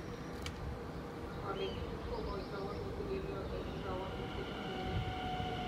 Konetinde kokotoi walutik eng yoto eng kewalutik ak keret